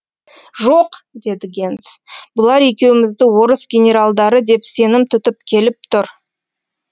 жоқ деді генс бұлар екеумізді орыс генералдары деп сенім тұтып келіп тұр